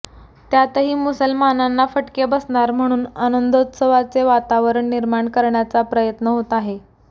त्यातही मुसलमानांना फटके बसणार म्हणून आनंदोत्वसाचे वातावरण निर्माण करण्याचा प्रयत्न होत आहे